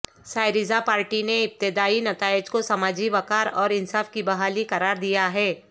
Syriza party نے ابتدائی نتائج کو سماجی وقار اور انصاف کی بحالی قرار دیا ہے